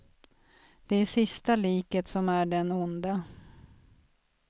Det är sista liket som är den onde.